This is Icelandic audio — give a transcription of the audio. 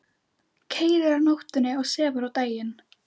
Keyrir á nóttunni og sefur á daginn.